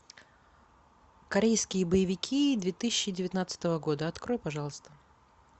корейские боевики две тысячи девятнадцатого года открой пожалуйста